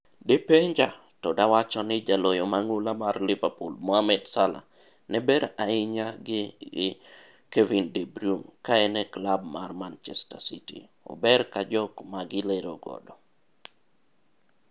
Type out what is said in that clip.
De penja to dawacho ni jaloyo mang'ula mar Liverpool Mohammed Salah ne ber ahinya gi gi Kevin De Bryune ka en e klab mar Manchester City ober ka jok magi lero godo.